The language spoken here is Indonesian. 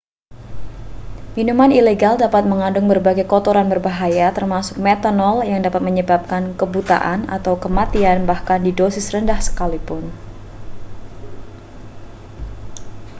minuman ilegal dapat mengandung berbagai kotoran berbahaya termasuk metanol yang dapat menyebabkan kebutaan atau kematian bahkan di dosis rendah sekalipun